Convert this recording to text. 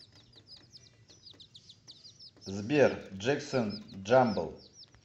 сбер джексон джамбл